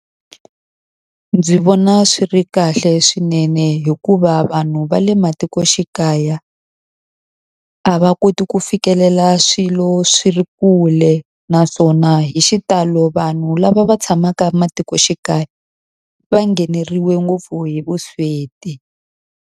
Ndzi vona swi ri kahle swinene hikuva vanhu va le matikoxikaya a va koti ku fikelela swilo swi ri kule, naswona hi xitalo vanhu lava va tshamaka matikoxikaya va ngheneriwi ngopfu hi vusweti.